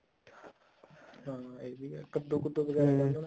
ਹਾਂ ਇਹ ਵੀ ਹੈ ਕੱਦੂ ਕੁੱਦੁ ਵਗੈਰਾ